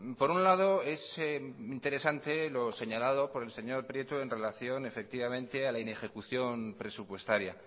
por un lado es interesante lo señalado por el señor prieto en relación efectivamente a la inejecución presupuestaria